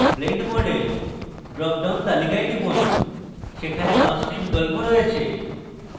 blend mode এর drop down তালিকায় টিপুন সেখানে 5টি বিকল্প রয়েছে